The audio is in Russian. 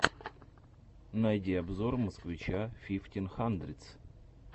найди обзор москвича фифтин хандридс